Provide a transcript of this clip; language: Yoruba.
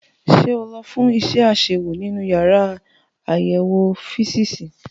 Ṣé o lọ fún iṣẹ́ àṣewò nínú yàrá àyẹ̀wò físììsì?